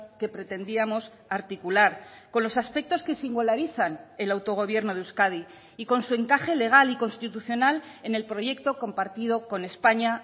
que pretendíamos articular con los aspectos que singularizan el autogobierno de euskadi y con su encaje legal y constitucional en el proyecto compartido con españa